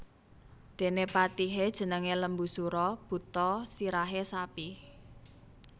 Dene patihe jenenge Lembusura buta sirahe sapi